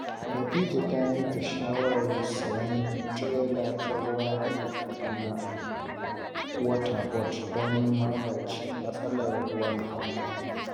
Khadija ta yanke shawarar siyan tirela ta ruwa daga Kaduna Water Board don magance matsalar ruwan famfo.